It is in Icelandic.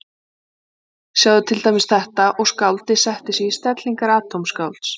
Sjáið til dæmis þetta, og skáldið setti sig í stellingar atómskálds